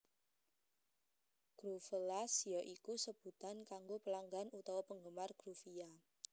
Groovellas ya iku sebutan kanggo pelanggan utawa penggemar Groovia